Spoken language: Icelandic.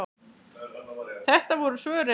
Þetta voru svörin.